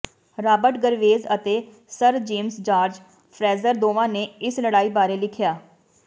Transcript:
Robert Graves ਅਤੇ sir James George Frazer ਦੋਵਾਂ ਨੇ ਇਸ ਲੜਾਈ ਬਾਰੇ ਲਿਖਿਆ